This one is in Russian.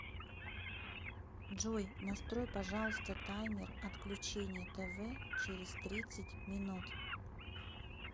джой настрой пожалуйста таймер отключения тв через тридцать минут